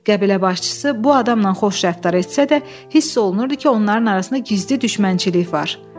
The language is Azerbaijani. Qəbilə başçısı bu adamla xoş rəftar etsə də, hiss olunurdu ki, onların arasında gizli düşmənçilik var.